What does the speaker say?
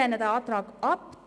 Wir lehnen den Antrag ab.